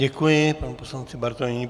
Děkuji panu poslanci Bartoňovi.